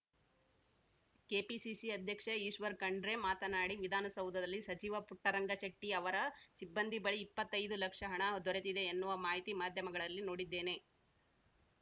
KPCC ಅಧ್ಯಕ್ಷ ಈಶ್ವರ್‌ ಖಂಡ್ರೆ ಮಾತನಾಡಿ ವಿಧಾನಸೌಧದಲ್ಲಿ ಸಚಿವ ಪುಟ್ಟರಂಗಶೆಟ್ಟಿಅವರ ಸಿಬ್ಬಂದಿ ಬಳಿ ಇಪ್ಪತೈದು ಲಕ್ಷ ಹಣ ದೊರೆತಿದೆ ಎನ್ನುವ ಮಾಹಿತಿ ಮಾಧ್ಯಮಗಳಲ್ಲಿ ನೋಡಿದ್ದೇನೆ